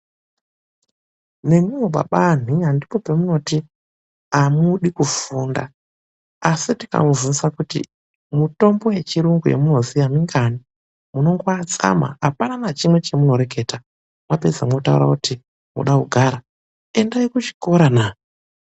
NEMIWO BABA ANHIYA NDIPO PEMUNOTI AMUDI KUFUNDA, ASI TIKAMUBVUNZA KUTI MITOMBO YECHIYUNGU YAMUNOZIYA MINGANI MUNONGOATSANA APANA NACHIMWE CHAMUNOREKETA MWAPEDZA MWOTAURA KUTI MUNODA KUGARA, ENDAI KUCHIKORO NAA.